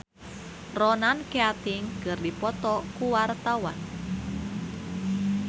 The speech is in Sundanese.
Hetty Koes Endang jeung Ronan Keating keur dipoto ku wartawan